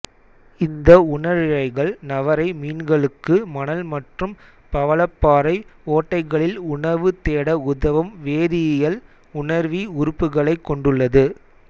இந்த உணரிழைகள் நவரை மீன்களுக்கு மணல் மற்றும் பவளப்பாறை ஓட்டைகளில் உணவு தேட உதவும் வேதியியல் உணர்வி உறுப்புகளைக் கொண்டுள்ளது